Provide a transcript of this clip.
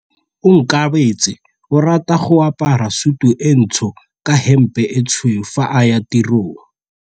Onkabetse o rata go apara sutu e ntsho ka hempe e tshweu fa a ya tirong.